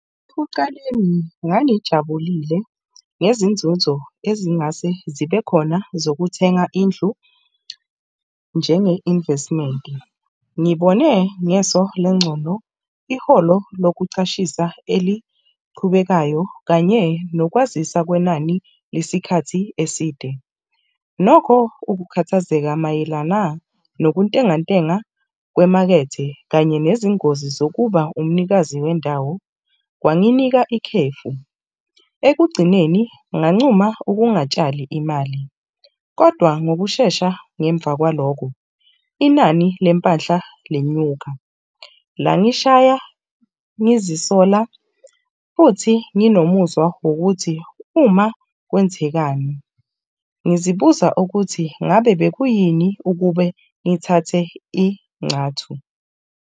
Ekucaleni ngangijabulile ngezinzuzo ezingase zibe khona zokuthenga indlu njenge-investment-i. Ngibone ngeso lencondo iholo lokucashisa eliqhubekayo kanye nokwazisa kwenani lesikhathi eside. Nokho ukukhathazeka mayelana nokuntengantenga kwemakethe kanye nezingozi zokuba umnikazi wendawo kwanginika ikhefu. Ekugcineni ngancuma ukungatshali imali, kodwa ngokushesha ngemva kwalokho inani lempahla lenyuka, langishaya ngizisola futhi nginomuzwa wokuthi uma kwenzekani. Ngizibuza ukuthi ngabe bekuyini ukube ngithathe inxathu?